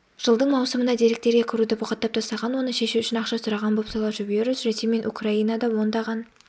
жылдың маусымында деректерге кіруді бұғаттап тастаған оны шешу үшін ақша сұраған бопсалаушы-вирус ресей мен украинада ондаған